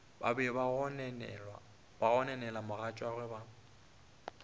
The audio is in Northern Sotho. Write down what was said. be ba gononela mogatšagwe ba